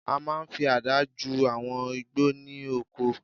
A máa n fi àdá ju àwọn igbó ní oko